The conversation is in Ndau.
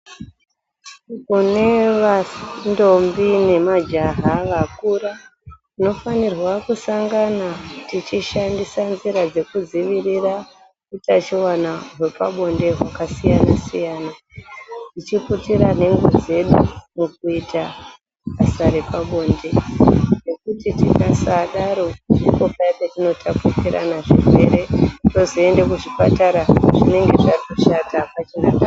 Kune vandombi nemajaha vakura tinofanirwa kusangana tichishandisa nzira dzekudzivirira utachiwana hwepabonde hwakasiyana-siyana. Tichiputira nhengo dzedu mukuita basa repabonde nekuti tikasadaro ndipo paya petinotapukirana zvirwere, tozoende kuzvipatara zvinenge zvatoshata hapachina ndaa.